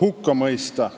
hukka mõista.